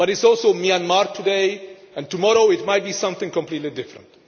But it is also Myanmar today, and tomorrow it might be something completely different.